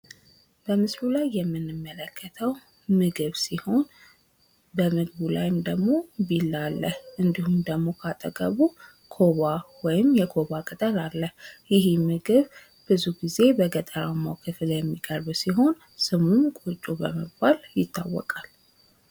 በምስሉ ላይ የምንመለከተው ምግብ ሲሆን በምግቡም ላይ ደግሞ ቢላ አለ። እንዲሁም ደግሞ ከአጠገቡ ኮባ ወይም የኮባ ቅጠል አለ። ይህ ምግብ ብዙ ጊዜ በገጠራማው ክፍል የሚቀርብ ሲሆን ስሙም ቆጮ በመባይ ይታወቃል።